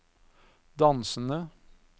dansende